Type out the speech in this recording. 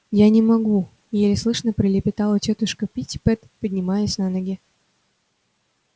я не могу еле слышно пролепетала тётушка питтипэт поднимаясь на ноги